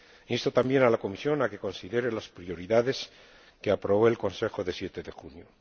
Insto también a la Comisión a que considere las prioridades que aprobó el Consejo del 7 de junio.